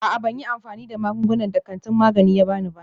A'a, ban yi amfani da magungunan da kantin magani ya ba ni ba.